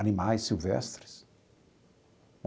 Animais silvestres.